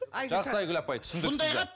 жақсы айгүл апай түсіндік сізді